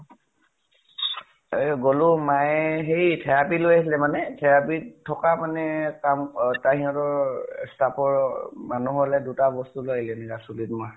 এ গʼলো । মায়ে হেৰি therapy লৈ আহিলে মানে । therapy ত থকা মানে কাম হতঁৰ stuff ৰ মানুহ হʼলে দুটা বস্তু লৈ আহিলে চুলি ত মাৰ